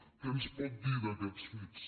què ens pot dir d’aquests fets